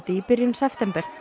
í byrjun september